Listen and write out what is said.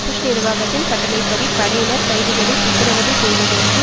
push நிர்வாகத்தின் கட்டளை படி படையினர் கைதிகளை சித்திரவதை செய்வதற்கு